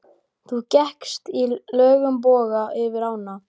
Þú gekkst í löngum boga yfir ána.